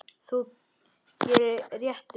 Þú gerir réttu lögin.